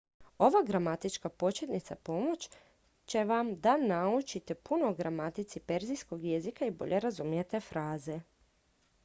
ova gramatička početnica pomoći će vam da naučite puno o gramatici perzijskog jezika i bolje razumijete fraze